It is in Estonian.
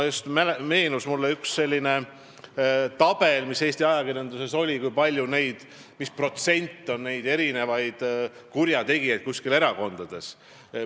Mulle meenus üks selline tabel, mis Eesti ajakirjanduses on avaldatud, kus oli kirjas, milline protsent on erakondades kurjategijaid.